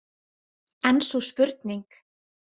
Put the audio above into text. En sú spurning!